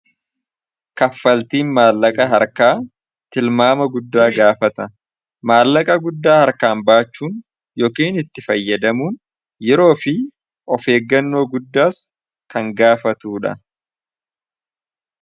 kaffaltiin maallaqa harkaa tilmaama guddaa gaafata maallaqa guddaa harkaan baachuun yookiin itti fayyadamuun yeroo fi of eeggannoo guddaas kan gaafatu dha